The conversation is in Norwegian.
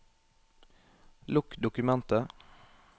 Lukk dokumentet